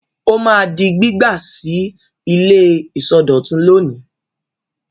Ó máa di gbígbà sí ilé ìsọdọ̀tun lónìí.